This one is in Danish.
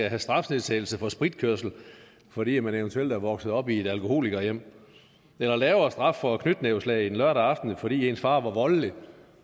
have strafnedsættelse for spritkørsel fordi man eventuelt er vokset op i et alkoholikerhjem eller lavere straf for knytnæveslag en lørdag aften fordi ens far var voldelig